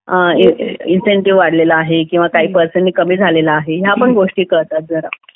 incentive वाढला आहे किंवा कमी झाला आहे या पण गोष्टी कळतात मग आपल्याला